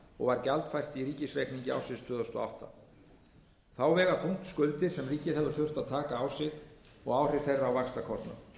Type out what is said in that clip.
og var gjaldfært í ríkisreikningi ársins tvö þúsund og átta þá vega þungt skuldir sem ríkið hefur þurft að taka á sig og áhrif þeirra á vaxtakostnað